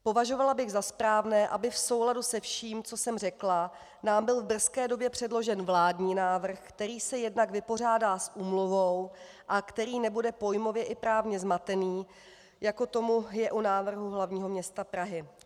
Považovala bych za správné, aby v souladu se vším, co jsem řekla, nám byl v brzké době předložen vládní návrh, který se jednak vypořádá s úmluvou a který nebude pojmově i právně zmatený, jako tomu je u návrhu hlavního města Prahy.